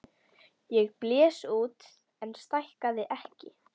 Ég blés út en stækkaði ekki.